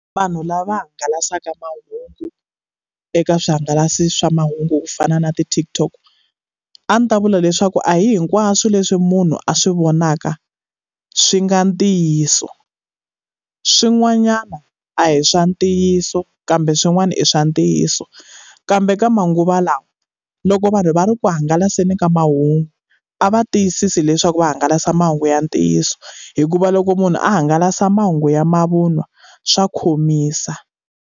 Vanhu lava hangalasaka mahungu eka swi hangalasi swa mahungu ku fana na ti-TikTok, a ndzi ta vula leswaku a hi hinkwaswo leswi munhu a swi vonaka swi nga ntiyiso. Swin'wanyana a hi swa ntiyiso kambe swin'wana i swa ntiyiso. Kambe ka manguva lawa loko vanhu va ri ku hangalaseni ka mahungu, a va tiyisise leswaku va hangalasa mahungu ya ntiyiso. Hikuva loko munhu a hangalasa mahungu ya mavun'wa swa khomisa.